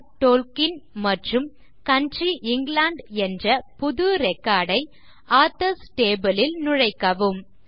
Tolkien மற்றும் country England என்ற புது ரெக்கார்ட் ஐ ஆதர்ஸ் டேபிள் லில் நுழைக்கவும் 4